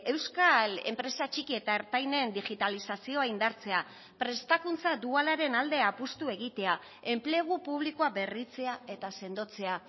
euskal enpresa txiki eta ertainen digitalizazioa indartzea prestakuntza dualaren alde apustu egitea enplegu publikoa berritzea eta sendotzea